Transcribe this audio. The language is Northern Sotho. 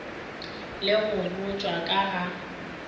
le go botšwa ka ga